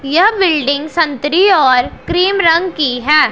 यह बिल्डिंग संतरी और क्रीम रंग की हैं।